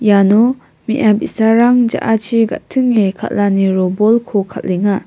iano me·a bi·sarang ja·achi ga·tinge kal·ani robolko kal·enga.